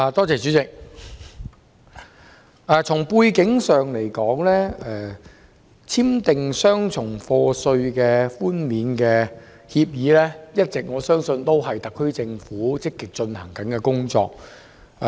主席，從背景上而言，我相信簽訂雙重課稅寬免協定一直是特區政府積極進行的工作。